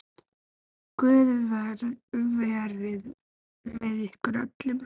Guð verið með ykkur öllum.